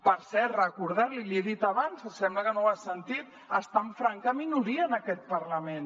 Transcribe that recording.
per cert recordar l’hi l’hi he dit abans sembla que no ho ha sentit està en franca minoria en aquest parlament